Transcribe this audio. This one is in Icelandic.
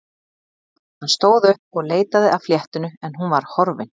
Hann stóð upp og leitaði að fléttunni en hún var horfin.